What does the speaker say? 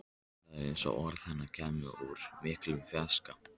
Það var eins og orð hennar kæmu úr miklum fjarska.